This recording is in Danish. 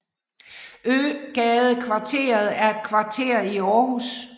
Øgadekvarteret er et kvarter i Aarhus